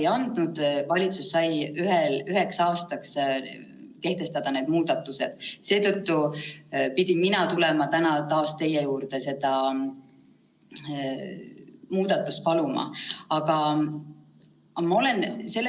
Ja kolmandaks, juhul kui valitsus peab kehtestama lisaliikumispiiranguid, näiteks kaotame ära tänased erisused koolides, kus võib teha konsultatsioone kontaktõppena, kus võib haridusliku erivajadustega lapsi õpetada, kus võib läbi viia väikestes gruppides praktikat, aga sh ka võib tänaste erandite kohaselt läbi viia koolimajas ka eksameid, kui valitsus selle erandi peab ära muutma, siis me palume siduda gümnaasiumieksamite sooritamine lahti lõpetamise tingimustest.